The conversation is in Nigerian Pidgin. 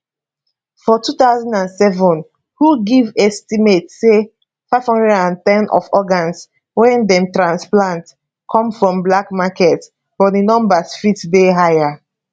for 2007 who give estimate say 510 of organs wey dem transplant come from black market but di numbers fit dey higher